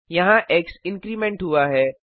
यहाँ एक्स incrementवृद्धि हुआ है